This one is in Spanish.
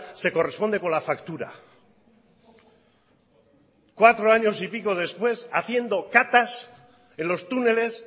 se corresponde con la factura cuatro años y pico después haciendo catas en los túneles